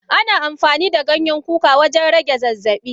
Ana amfani da Ganyen kuka wajen rage zazzabi.